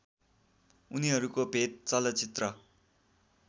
उनीहरूको भेट चलचित्र